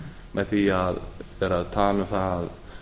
með því að vera að tala um það